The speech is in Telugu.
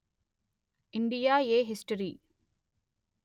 India a history